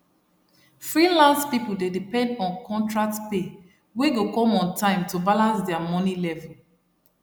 freelance people dey depend on contract pay wey go come on time to balance their money level